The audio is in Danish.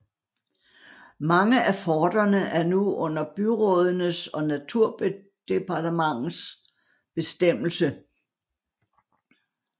Mange af forterne er nu under byrådenes og naturdepartementets bestemmelse